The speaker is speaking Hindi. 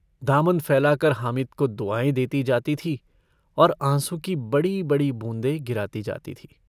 दामन फैलाकर हामिद को दुआएँ देती जाती थी और आँसू की बड़ी-बड़ी बूँदें गिराती जाती थी।